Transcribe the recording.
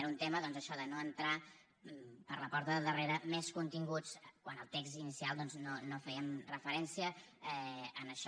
era un tema doncs això de no entrar per la porta del darrere més continguts quan al text inicial no fèiem referència a això